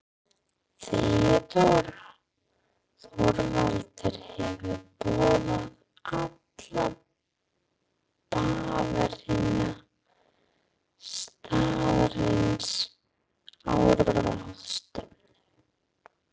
THEODÓRA: Þorvaldur hefur boðað alla bavíana staðarins á ráðstefnu.